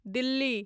Delhi